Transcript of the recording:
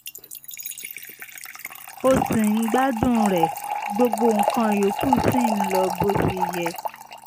o ṣì ń gbádùn rẹ̀ gbogbo nǹkan yòókù sì ń lọ bó ṣe yẹ